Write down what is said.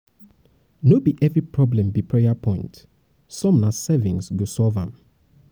no be every problem be prayer point some na savings go solve am.